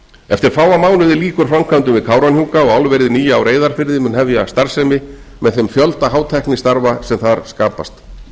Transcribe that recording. eftir fáa mánuði lýkur framkvæmdum við kárahnjúka og álverið nýja á reyðarfirði mun hefja starfsemi með þeim fjölda hátæknistarfa sem þar skapast